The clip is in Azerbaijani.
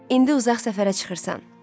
İndi uzaq səfərə çıxırsan.